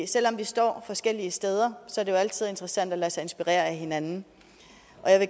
selv om vi står forskellige steder er det jo altid interessant at lade sig inspirere af hinanden